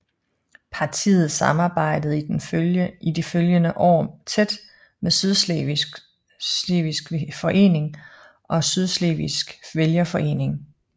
Partiet samarbejdede i de følgende år tæt med Sydslesvigsk Forening og Sydslesvigsk Vælgerforening